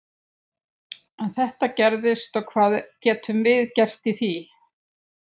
En þetta gerist og hvað getum við gert í því?